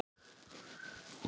Þín Fanný.